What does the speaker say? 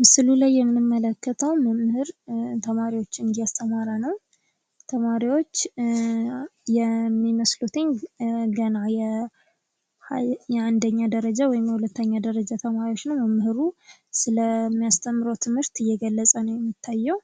ምስሉ ላይ የምንመለከተዉ መምህር ተማሪዎችን እያስተማረ ነዉ። ተማሪዎች የሚመስሉት ገና የአንደኛ ደረጃ ወይም የሁለተኛ ደረጃ ተማሪዎች ነዉ። መምህሩ ስለሚያስተምረዉ ትምህርት እየገለፀ ነዉ የሚታየዉ